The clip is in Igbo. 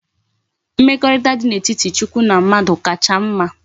Mmekorita di na etiti chukwu na mmadu kacha mma